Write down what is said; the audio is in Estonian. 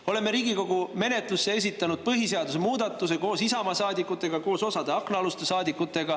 Me oleme Riigikogu menetlusse esitanud põhiseaduse muudatuse koos Isamaa saadikutega ja koos osade aknaaluste saadikutega.